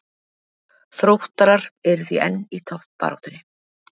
Þróttarar eru því enn í toppbaráttunni.